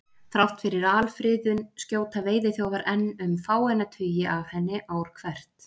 Þrátt fyrir alfriðun skjóta veiðiþjófar enn um fáeina tugi af henni ár hvert.